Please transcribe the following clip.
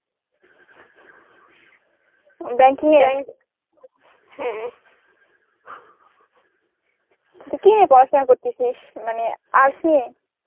banking এ তো কি নিয়ে পড়াশোনা করতেছিস মানে arts নিয়ে?